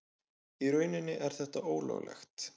Í rauninni er þetta ólöglegt.